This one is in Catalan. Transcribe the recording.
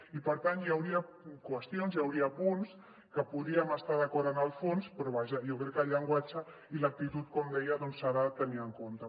i per tant hi hauria qüestions hi hauria punts que hi podríem estar d’acord en el fons però vaja jo crec que el llenguatge i l’actitud com deia s’han de tenir en compte